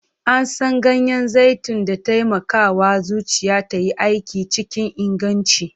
An san ganyen zaitun da taimakawa zuciya ta yi aiki cikin inganci.